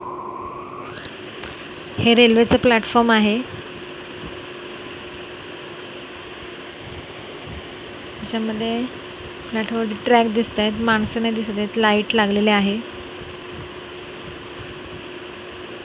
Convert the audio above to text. हे रेल्वेचं प्लॅटफॉर्म आहे त्याच्यामध्ये ट्रॅक दिसतायत माणसं नाही दिसतात लाईट लागलेले आहे.